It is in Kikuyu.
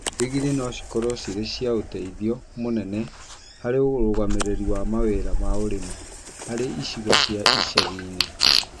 ndigiri no cikorwo cirĩ cia ũteithio mũnene harĩ ũrũgamĩrĩri wa mawĩra ma ũrĩmi harĩ icigo cia icagi-inĩ.